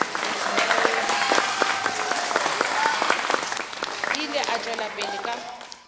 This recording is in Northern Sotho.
ile a tšwela pele ka